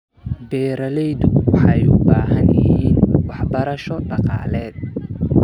Beeraleydu waxay u baahan yihiin waxbarasho dhaqaale.